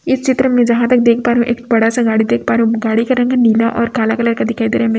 इस चित्र में जहाँ तक देख पा रहे है एक बड़ा सा गाड़ी देख पा रहे है गाड़ी का रंग है नीला और काला कलर का दिखाई दे रहा मे --